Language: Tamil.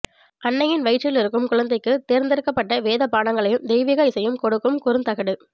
அன்னையின் வயிற்றிலிருக்கும் குழந்தைக்கு தேர்ந்தெடுக்கப்பட்ட வேதபாடங்களையும் தெய்வீக இசையையும் கொடுக்கும் குறுந்தகடு